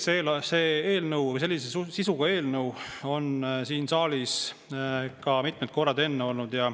Jaa, on tõsi, et sellise sisuga eelnõu on siin saalis ka enne mitmed korrad olnud.